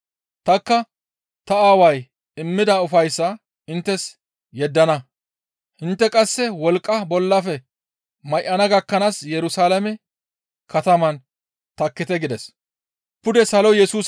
Tanikka ta Aaway immida ufayssaa inttes yeddana; intte qasse wolqqa bollafe may7ana gakkanaas Yerusalaame kataman takkite» gides.